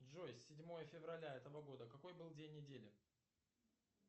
джой седьмое февраля этого года какой был день недели